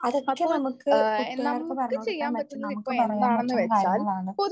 അതൊക്കെ നമുക്ക് കൂട്ടുകാർക്ക് പറഞ്ഞു കൊടുക്കാൻ പറ്റും. നമുക്ക് പറയാൻ പറ്റുന്ന കാര്യങ്ങളാണ്.